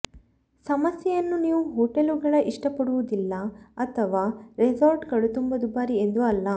ಸಮಸ್ಯೆಯನ್ನು ನೀವು ಹೊಟೆಲುಗಳ ಇಷ್ಟಪಡುವುದಿಲ್ಲ ಅಥವಾ ರೆಸಾರ್ಟ್ಗಳು ತುಂಬಾ ದುಬಾರಿ ಎಂದು ಅಲ್ಲ